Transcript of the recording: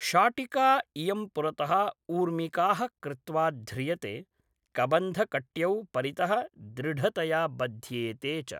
शाटिका इयं पुरतः ऊर्मिकाः कृत्वा ध्रियते, कबन्धकट्यौ परितः दृढतया बध्येते च।